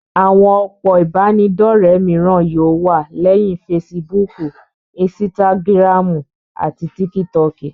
Àwọn òpó ìbánidọ́rẹ̀ mìíràn yóò wà, léyìn fesibúùkù, insitagiramu àti tikitoki.